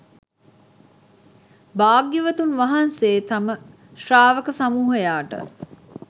භාග්‍යවතුන් වහන්සේ තම ශ්‍රාවක සමූහයාට